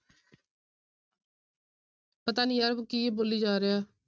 ਪਤਾ ਨੀ ਯਾਰ ਕੀ ਬੋਲੀ ਜਾ ਰਿਹਾ।